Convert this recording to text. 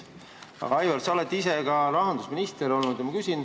Aga, Aivar, sa oled ise ka rahandusminister olnud.